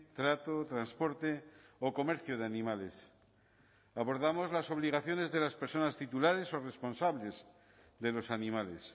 trato transporte o comercio de animales abordamos las obligaciones de las personas titulares o responsables de los animales